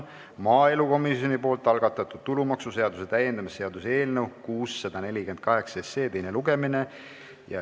Maaelukomisjoni algatatud tulumaksuseaduse muutmise seaduse eelnõu 648 teine lugemine.